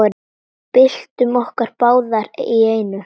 Byltum okkur báðar í einu.